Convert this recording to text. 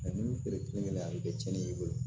ni feere kelenkelen a bɛ kɛ cɛnni ye i bolo